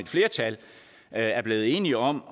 flertal er blevet enige om